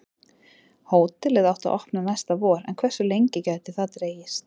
Hótelið átti að opna næsta vor en hversu lengi gæti það dregist?